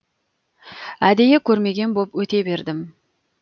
әдейі көрмеген боп өте бердім